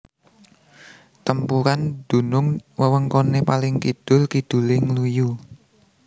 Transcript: Tempuran dunung wewengkone paling kidul kidule Ngluyu